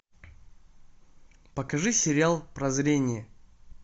покажи сериал прозрение